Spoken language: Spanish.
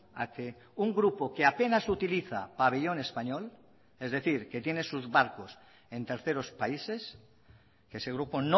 a que un grupo que apenas utiliza pabellón español es decir que tiene sus barcos en terceros países que ese grupo